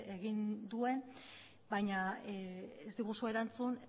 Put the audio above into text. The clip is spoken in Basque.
egin duen baina ez diguzu erantzun